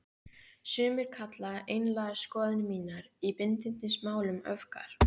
Sumir kalla einlægar skoðanir mínar í bindindismálum öfgar.